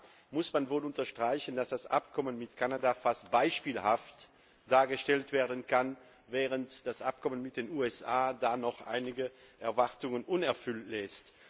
Da muss man wohl unterstreichen, dass das Abkommen mit Kanada als fast beispielhaft gelten kann, während das Abkommen mit den USA noch einige Erwartungen unerfüllt lässt.